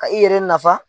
Ka i yɛrɛ nafa